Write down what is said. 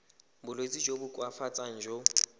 bolwetsi jo bo koafatsang jo